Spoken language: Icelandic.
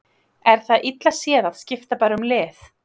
Er það illa séð að skipta bara um lið?